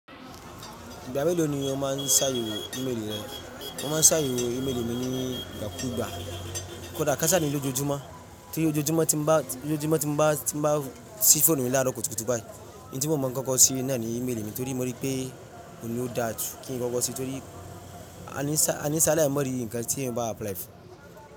Ígbá mélò ní ó máa ń sà séwó ìméèlì rẹ? Mó máa n sà yéwó ìméèlì mí ní ígbá kú gbá, kódà ká sáa ní ojòojúmọ́. Torí ójóojúmọ́ tí mó bá, tí mó bá, tí mó bá síí fóònù mí lára kútúkútú báyìí, òhún tí mó máa ń kọ́kọ́ síí ní náà ni ìméèlì mí tórí mó rí pé kò ní ó dà tó kí n kọ́kọ́ sí i, torí àníṣà, àníṣà náà ni mo rí nǹkan tí èèyàn bá apply fún.